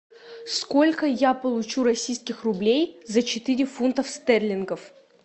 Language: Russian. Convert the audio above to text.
сколько я получу российских рублей за четыре фунтов стерлингов